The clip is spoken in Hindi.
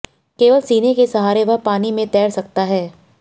केवल सीने के सहारे वह पानी में तैर सकता है